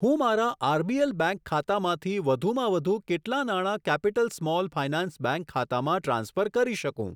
હું મારા RBL bank ખાતામાંથી વધુમાં વધુ કેટલા નાણા કેપિટલ સ્મોલ ફાયનાન્સ બેંક ખાતામાં ટ્રાન્સફર કરી શકું?